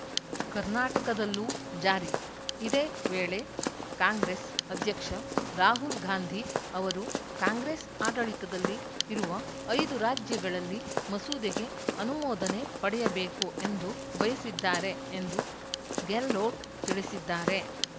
ಕರ್ನಾಟಕದಲ್ಲೂ ಜಾರಿ ಇದೇ ವೇಳೆ ಕಾಂಗ್ರೆಸ್‌ ಅಧ್ಯಕ್ಷ ರಾಹುಲ್‌ ಗಾಂಧಿ ಅವರು ಕಾಂಗ್ರೆಸ್‌ ಆಡಳಿತದಲ್ಲಿ ಇರುವ ಐದು ರಾಜ್ಯಗಳಲ್ಲಿ ಮಸೂದೆಗೆ ಅನುಮೋದನೆ ಪಡೆಯಬೇಕು ಎಂದು ಬಯಸಿದ್ದಾರೆ ಎಂದು ಗೆಹ್ಲೋಟ್‌ ತಿಳಿಸಿದ್ದಾರೆ